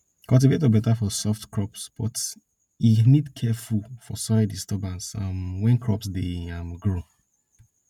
cultivator beta for soft crops but e but e need careful for soil disturbance um when crops dey um grow